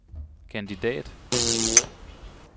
kandidat